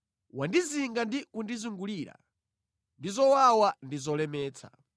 Wandizinga ndi kundizungulira ndi zowawa ndi zolemetsa.